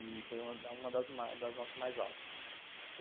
E foi uma das notas mais altas.